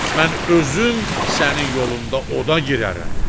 Mən özüm sənin yolunda oda girərəm.